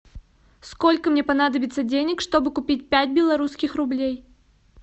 сколько мне понадобится денег чтобы купить пять белорусских рублей